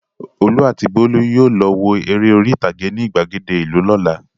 Olú àti Bólú yóò lọ wo eré orí-ìtàgé ní ìgbàgede ìlú lọ́la.